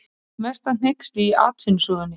Eitt mesta hneyksli í atvinnusögunni